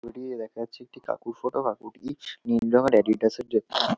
Video দেখা যাচ্ছে একটা কাকুর ফটো । কাকুটি নীল রঙের অ্যাডিডাস -এর জু --